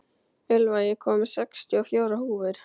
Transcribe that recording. Elva, ég kom með sextíu og fjórar húfur!